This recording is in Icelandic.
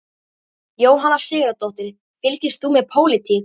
Jóhanna Sigurðardóttir: Fylgist þú með pólitík?